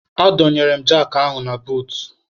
A dọnyere m jakị ahụ na buut.